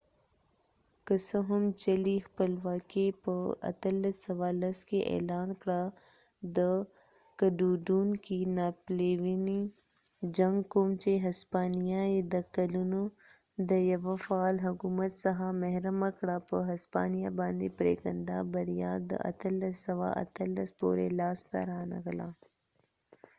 که څه هم چلی خپلواکې په 1810کې اعلان کړه ،د کډوډونکې ناپلیونی جنګ کوم چې هسپانیه یې د کلونه د یو فعال حکومت څخه محرمه کړه په هسپانیه باندي پریکنده بریا د 1818 پورې لاس ته رانغله